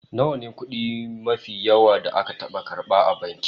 Nawa ne kudi mafi yawa da ka taba karba a banki?